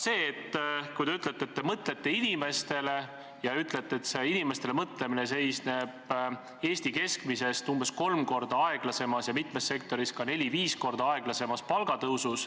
Te ütlete, et te mõtlete inimestele, ja ütlete, et inimestele mõtlemine seisneb Eesti keskmisest umbes kolm korda aeglasemas ja mitmes sektoris neli-viis korda aeglasemas palgatõusus.